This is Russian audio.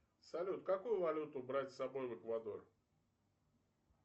салют какую валюту брать с собой в эквадор